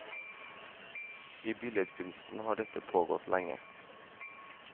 I billedkunsten har dette pågått lenge.